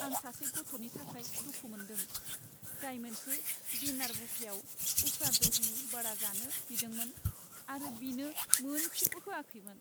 आं सासे गथ'नि थाखाय दुखु मोन्दों, जाय मोनसे डिनार बुफेआव उफ्रा दही बडा जानो बिदोंमोन आरो बिनो मोनसेबो होआखैमोन।